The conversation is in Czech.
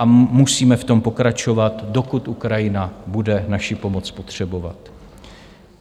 A musíme v tom pokračovat, dokud Ukrajina bude naši pomoc potřebovat.